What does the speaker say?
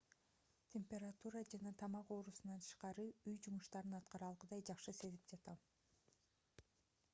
температура жана тамак оорусунан тышкары үй жумуштарын аткара алгыдай жакшы сезип жатам